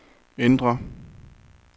indre